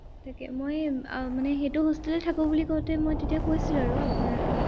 তাকে মই এৰ মানে সেইটো hostel তে থাকো বুলি কঁওতে মই তেতিয়া কৈছিলো আৰু আপোনাৰ